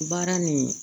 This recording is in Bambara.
Baara nin